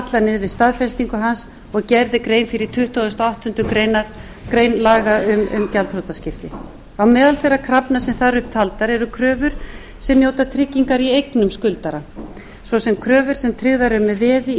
við staðfestingu hans og gerð er grein fyrir í tuttugasta og áttundu grein laga um gjaldþrotaskipti á meðal þeirra krafna sem þar eru upp taldar eru kröfur sem njóta tryggingar í eignum skuldara svo sem kröfur sem tryggðar eru með veði í